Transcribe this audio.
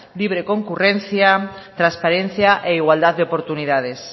libre concurrencia transparencia e igualdad de oportunidades